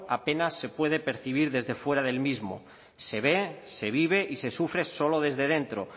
apenas se puede percibir desde fuera del mismo se ve se vive y se sufre solo desde dentro